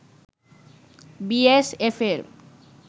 B S এফের